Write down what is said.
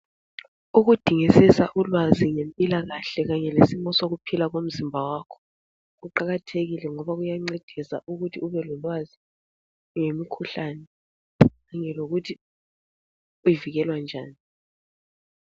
Ukudingisisa ulwazi ngempilakahle kanye lesimo sokuphila komzimba wakho kuqakathekile ngoba kuyancedisa ukuthi ube lolwazi ngemikhuhlane kanye lokuthi ivikelwa njani.